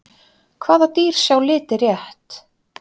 Hvaða dýr sjá liti rétt?